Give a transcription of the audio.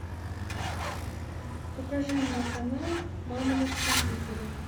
покажи мне канал мама на телевизоре